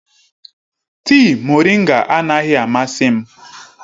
Tịị moringa anaghị amasị m.